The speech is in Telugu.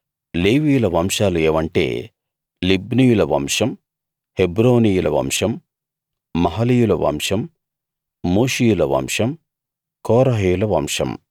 లేవీయుల వంశాలు ఏవంటే లిబ్నీయుల వంశం హెబ్రోనీయుల వంశం మహలీయుల వంశం మూషీయుల వంశం కోరహీయుల వంశం